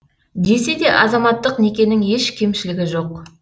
десе де азаматтық некенің еш кемшілігі жоқ